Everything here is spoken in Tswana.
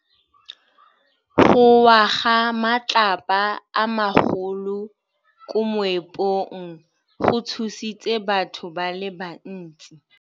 Go wa ga matlapa a magolo ko moepong go tshositse batho ba le bantsi.